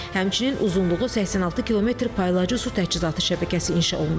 Həmçinin uzunluğu 86 kilometr paylayıcı su təchizatı şəbəkəsi inşa olunub.